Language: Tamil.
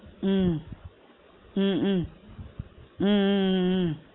உம் உம் உம் உம் உம் உம்